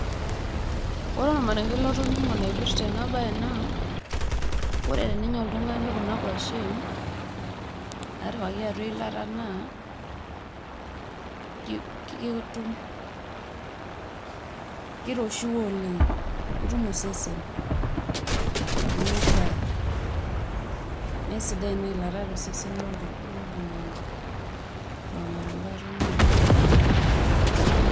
ore olmarenke latoning'o loipirta ena bae naa, ore tenaya ltungani kuna kwashen. natipikaki atua eilata naa kiroshiwuo oleng ketum osesen, nemeishaa. mme sidai inailata tosesen loltungani.